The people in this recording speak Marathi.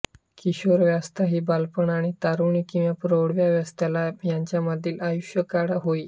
किशोरावस्था ही बालपण आणि तारुण्य किंवा प्रौढावास्थेला यांच्यामधील आयुष्यकाळ होय